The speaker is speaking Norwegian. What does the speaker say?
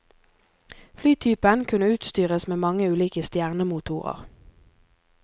Flytypen kunne utstyres med mange ulike stjernemotorer.